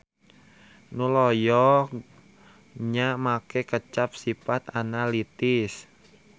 Nu loyog nya make kecap sipat analitis.